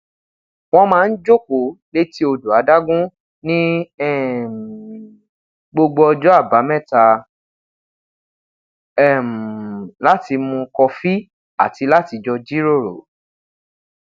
wọn maa n jokoo leti odo adagun ni um gbogbo ọjọ abamẹta um lati mu kọfi ati lati jọ jiroro